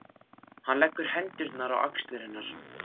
Hann leggur hendurnar á axlir hennar.